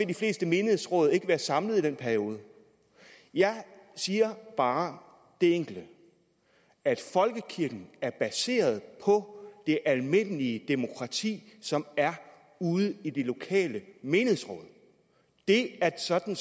de fleste menighedsråd ikke være samlet i den periode jeg siger bare det enkle at folkekirken er baseret på det almindelige demokrati som er ude i de lokale menighedsråd det er sådan